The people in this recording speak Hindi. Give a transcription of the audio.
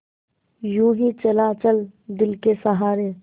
यूँ ही चला चल दिल के सहारे